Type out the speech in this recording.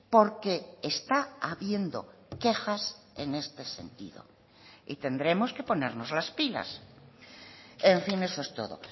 porque está habiendo quejas en este sentido y tendremos que ponernos las pilas en fin eso es todo